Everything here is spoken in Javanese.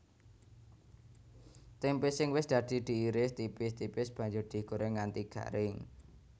Témpé sing wis dadi diiris tipis tipis banjur digorèng nganti garing